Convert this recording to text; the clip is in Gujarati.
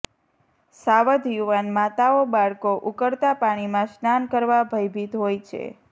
સાવધ યુવાન માતાઓ બાળકો ઉકળતા પાણીમાં સ્નાન કરવા ભયભીત હોય છે